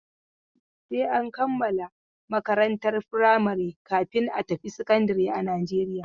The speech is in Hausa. Sai an kammala makarantar firamari kafin a tafi sakandare a Najeriya.